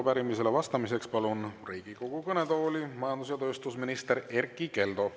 Arupärimisele vastamiseks palun Riigikogu kõnetooli majandus‑ ja tööstusminister Erkki Keldo.